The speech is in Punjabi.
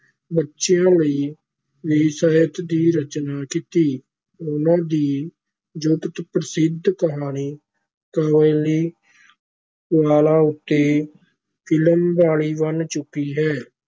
ਬੱਚਿਆਂ ਲਈ ਵੀ ਸਾਹਿਤ ਦੀ ਰਚਨਾ ਕੀਤੀ, ਉਨਾਂ ਦੀ ਜਗਤ ਪ੍ਰਸਿੱਧ ਕਹਾਣੀ ਕਾਬਲੀ ਵਾਲਾ ਉੱਤੇ ਫਿਲਮ ਬਣੀ ਬਣ ਚੁੱਕੀ ਹੈ।